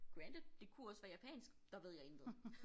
Granted det kunne også være japansk der ved jeg intet